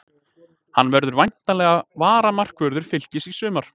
Hann verður væntanlega varamarkvörður Fylkis í sumar.